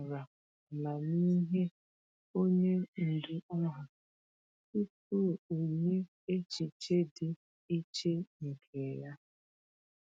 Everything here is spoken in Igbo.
O kwetara amamihe onye ndu ahụ tupu o nye echiche dị iche nke ya.